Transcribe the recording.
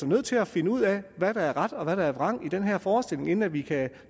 nødt til at finde ud af hvad der er ret og hvad der er vrang i den her forestilling inden at vi kan